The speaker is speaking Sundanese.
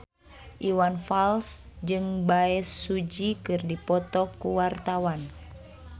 Iwan Fals jeung Bae Su Ji keur dipoto ku wartawan